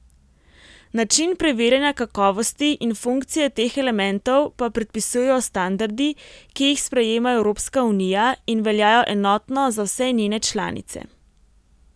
Način preverjanja kakovosti in funkcije teh elementov pa predpisujejo standardi, ki jih sprejema Evropska unija in veljajo enotno za vse njene članice.